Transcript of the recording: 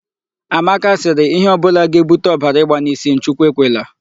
Amaka sịrị, 'Ihe ọ bụla ga-ebute ọbara ịgba n'isi m, Chukwu ekwela'.